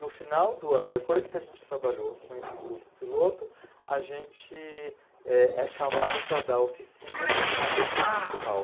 No final do ano, depois que a gente trabalhou com esse grupo piloto, a gente é é chamado para dar oficinas na rede municipal.